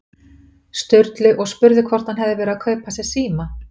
Sturlu og spurði hvort hann hefði verið að kaupa sér síma.